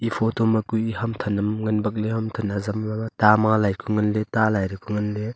e photo hue ham than am ngan bak ley ham than azam za ta ma lai ku ngan ley ta lai dao ku ngan ley.